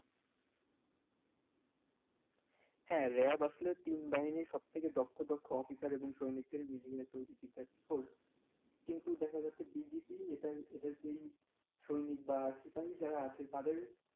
হ্যা র‍্যাব আসলে তিন বাহিনির সব থেকে দক্ষ দক্ষ অফিসার এবং সৈনিক মিলিয়ে তো এটি একটা force কিন্তু দেখা যাচ্ছে BGB এটা এটার যেই সৈনিক বা সিপাহি যারা আছে তাদের.